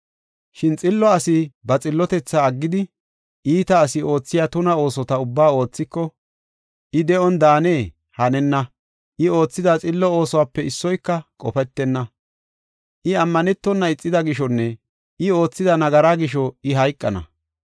Shin xillo asi ba xillotethaa aggidi, iita asi oothiya tuna oosota ubba oothiko, I de7on daanee? Hanenna, I oothida xillo oosuwape issoyka qofetenna; I ammanetona ixida gishonne I oothida nagaraa gisho I hayqana.